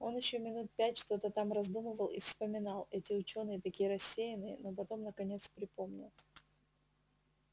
он ещё минут пять что-то там раздумывал и вспоминал эти учёные такие рассеянные но потом наконец припомнил